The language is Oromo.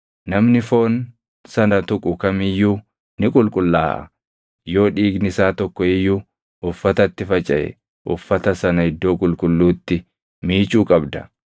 Namni foon sana tuqu kam iyyuu ni qulqullaaʼa; yoo dhiigni isaa tokko iyyuu uffatatti facaʼe uffata sana iddoo qulqulluutti miicuu qabda.